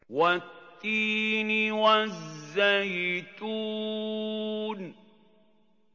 وَالتِّينِ وَالزَّيْتُونِ